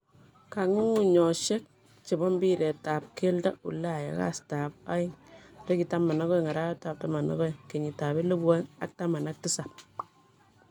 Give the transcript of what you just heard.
Kong'ung'unyoshek chebo mbirer ab keldo Ulaya kastab agean 12.12.2017